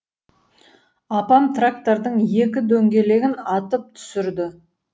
апам трактордың екі дөңгелегін атып түсірді